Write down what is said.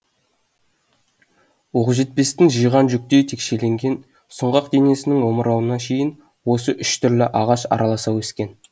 оқжетпестің жиған жүктей текшеленген сұңғақ денесінің омырауына шейін осы үш түрлі ағаш араласа өскен